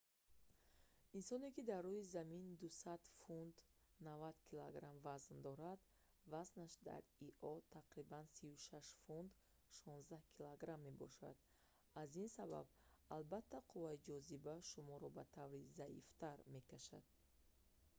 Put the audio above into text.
инсоне ки дар рӯи замин 200 фунт 90 кг вазн дорад вазнаш дар ио тақрибан 36 фунт 16 кг мешавад. аз ин сабаб албатта қувваи ҷозиба шуморо ба таври заифтар мекашад